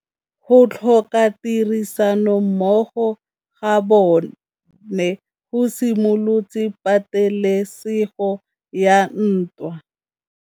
Go tlhoka tirsanommogo ga bone go simolotse patêlêsêgô ya ntwa.